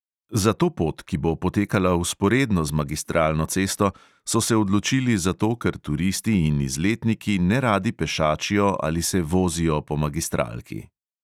Za to pot, ki bo potekala vzporedno z magistralno cesto, so se odločili zato, ker turisti in izletniki neradi pešačijo ali se vozijo po magistralki.